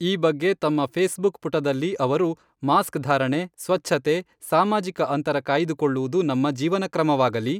ಈ ಬಗ್ಗೆ ತಮ್ಮ ಫೇಸ್ ಬುಕ್ ಪುಟದಲ್ಲಿ ಅವರು ಮಾಸ್ಕಧಾರಣೆ, ಸ್ವಚ್ಛತೆ, ಸಾಮಾಜಿಕ ಅಂತರ ಕಾಯ್ದುಕೊಳ್ಳುವುದು ನಮ್ಮ ಜೀವನಕ್ರಮವಾಗಲಿ.